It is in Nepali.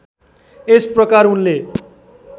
यस प्रकार उनले